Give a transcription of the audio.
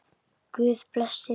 Guð blessi þig.